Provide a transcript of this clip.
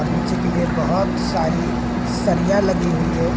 और नीचे के लिए बहोत सारी सरिया लगी हुई है।